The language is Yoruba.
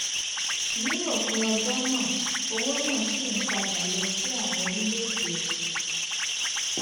ní òpin ọjọ náà owó náà ṣì ń padà lọ sí àwọn orílèèdè òkèèrè